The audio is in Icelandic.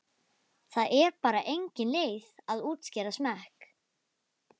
Það er bara engin leið að útskýra smekk.